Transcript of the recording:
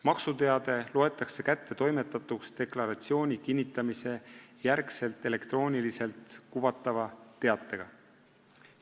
Maksuteade loetakse kättetoimetatuks pärast deklaratsiooni kinnitamist elektrooniliselt kuvatava teatega.